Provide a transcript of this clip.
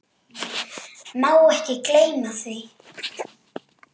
Má ekki gleyma því.